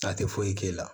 A tɛ foyi k'e la